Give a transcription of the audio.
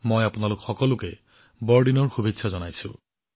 মই আপোনালোক সকলোকে বৰদিনৰ শুভেচ্ছা জনাইছো